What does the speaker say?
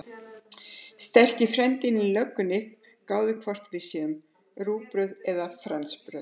Sterki frændinn í löggunni gáir hvort við séum rúgbrauð eða fransbrauð.